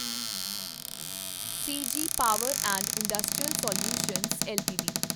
CG power and industrial solutions LTD